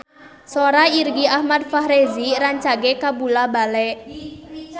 Sora Irgi Ahmad Fahrezi rancage kabula-bale